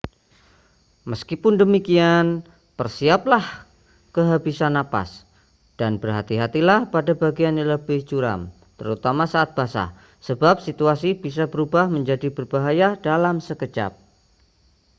meskipun demikian bersiaplah kehabisan napas dan berhati-hatilah pada bagian yang lebih curam terutama saat basah sebab situasi bisa berubah menjadi berbahaya dalam sekejap